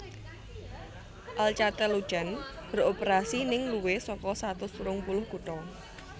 Alcatel Lucent beroperasi ning luwih saka satus telung puluh kutha